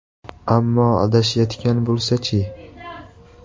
Ammo adashayotgan bo‘lsachi?